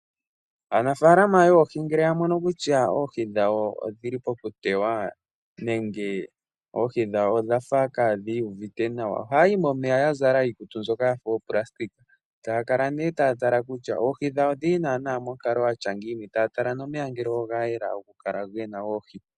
Aanafaalama yoohi ngele yamono kutya oohi dhawo odhili pokutewa nenge oohi dhawo odha fa kadhi iyuvite nawa, ohaya yi momeya yazala iikutu mbyoka yafa ooplasitika etaya kala ne taya tala kutya oohi dhawo odhili nana monkalo yatya ngini yo taya tala nomeya ngele ogayela nokukala gena oohi.